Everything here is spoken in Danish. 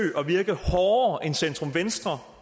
at virke hårdere end centrum venstre